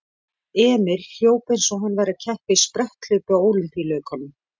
Emil hljóp eins og hann væri að keppa í spretthlaupi á Ólympíuleikunum.